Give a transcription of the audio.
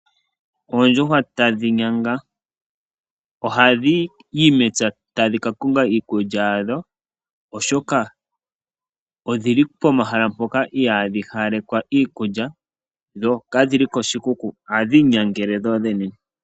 Oondjuhwa tadhi nyanga. Ohadhiyi mepya, tadhi ka konga iikulya ya dho oshoka odhili pomahala mpoka ihaa dhi hawalekwa iikulya, ndho ka dhili koshikuku. Ohadhi inyangele dho dhene.